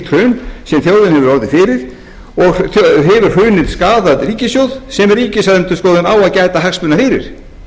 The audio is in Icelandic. hrun sem þjóðin hefur orðið fyrir og hefur hrunið skaðað ríkissjóð sem ríkisendurskoðun á að gæta hagsmuna fyrir